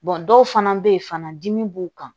dɔw fana bɛ yen fana dimi b'u kan